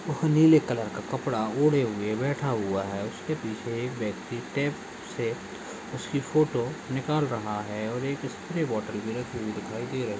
वह नीले कलर का कपड़ा ओढ़े हुए बैठा हुआ है उसके पीछे एक व्यक्ति टेब से उसकी फोटो निकाल रहा है और एक स्प्रेबोटल भी रखी हुई दिखाई दे रही--